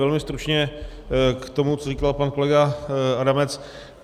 Velmi stručně k tomu, co říkal pan kolega Adamec.